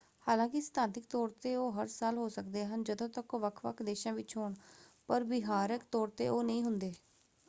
ਹਾਲਾਂਕਿ ਸਿਧਾਂਤਕ ਤੌਰ ‘ਤੇ ਉਹ ਹਰ ਸਾਲ ਹੋ ਸਕਦੇ ਹਨ ਜਦੋਂ ਤੱਕ ਉਹ ਵੱਖ-ਵੱਖ ਦੇਸ਼ਾਂ ਵਿੱਚ ਹੋਣ ਪਰ ਵਿਹਾਰਕ ਤੌਰ ‘ਤੇ ਉਹ ਨਹੀਂ ਹੁੰਦੇ।